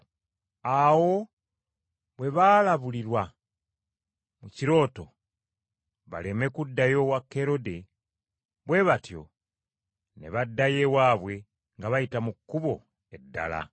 Awo bwe baalabulibwa mu kirooto baleme kuddayo wa Kerode, bwe batyo ne baddayo ewaabwe nga bayita mu kkubo eddala.